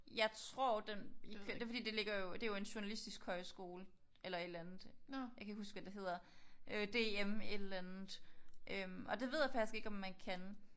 Jeg tror den det er fordi den ligger jo det er jo en journalistisk højskole eller et eller andet. Jeg kan ikke huske hvad det hedder. Øh DM et eller andet. Og det ved jeg faktisk ikke om man kan